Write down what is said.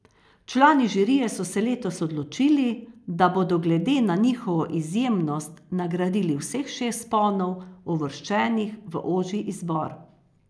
Člani žirije so se letos odločili, da bodo glede na njihovo izjemnost nagradili vseh šest vzponov, uvrščenih v ožji izbor.